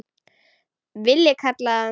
Villi kallaði hann.